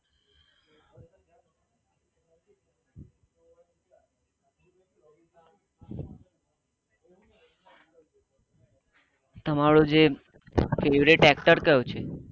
તમારો જે favourite actor કયો che